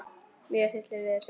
Mig hryllir við þessu.